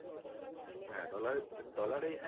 হ্যাঁ dollar এ dollar এই হ্যাঁ